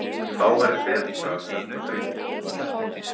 Þá væri betra að senda drenginn.